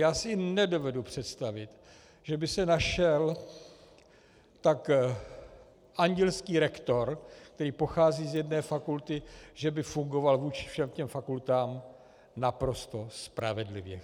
Já si nedovedu představit, že by se našel tak andělský rektor, který pochází z jedné fakulty, že by fungoval vůči všem těm fakultám naprosto spravedlivě.